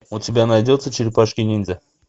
у тебя найдется черепашки ниндзя